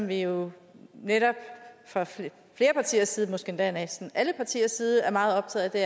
vi jo netop fra flere partiers side måske endda næsten alle partiers side er meget optaget af